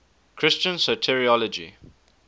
christian soteriology